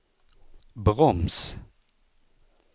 broms